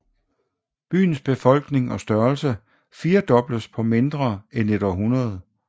Byens befolkning og størrelse firdobledes på mindre end et århundrede